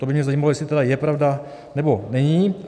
To by mě zajímalo, jestli je to pravda, nebo není.